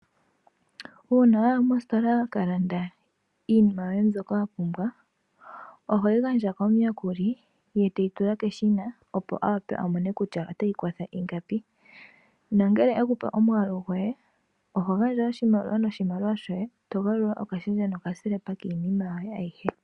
Uuna waya mostola wakalanda iinima yoye mbyoka wapumbwa ohoyi gandja komuyakuli ye teyi tula keshina, opo awape amone kutya otayi kosho ingapi. Ngele ekupe omwaalu goye oho gandja oshimaliwa, eto galulilwa oshendja nokambaapila komafutilo giiinima yoye ayihe.